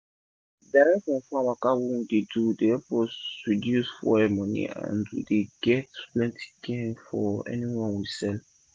direct from farm waka wey we dey do dey epp us reduce fuel money and we dey get plenti gain for anyone we sell